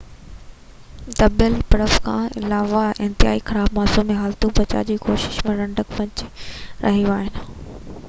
دٻيل برف کان علاوه انتهائي خراب موسمي حالتون بچاءُ جي ڪوششن ۾ رنڊڪ وجهي رهيون آهن